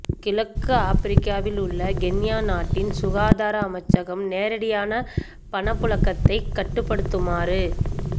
கிழக்கு ஆப்பிரிக்காவில் உள்ள கென்யா நாட்டின் சுகாதார அமைச்சகம் நேரடியான பணப்புழக்கத்தைக் கட்டுப்படுத்துமாறு